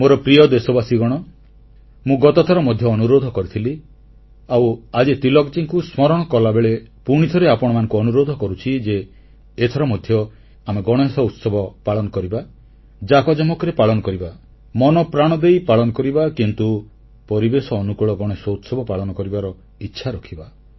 ମୋର ପ୍ରିୟ ଦେଶବାସୀଗଣ ମୁଁ ଗତଥର ମଧ୍ୟ ଅନୁରୋଧ କରିଥିଲି ଆଉ ଆଜି ତିଳକଜୀଙ୍କୁ ସ୍ମରଣ କଲାବେଳେ ପୁଣିଥରେ ଆପଣମାନଙ୍କୁ ଅନୁରୋଧ କରୁଛି ଯେ ଏଥର ମଧ୍ୟ ଆମେ ଗଣେଶ ଉତ୍ସବ ପାଳନ କରିବା ଜାକଜମକରେ ପାଳନ କରିବା ମନପ୍ରାଣ ଦେଇ ପାଳନ କରିବା କିନ୍ତୁ ପରିବେଶ ଅନୁକୂଳ ଗଣେଶ ଉତ୍ସବ ପାଳନ କରିବାର ଇଚ୍ଛା ରଖିବା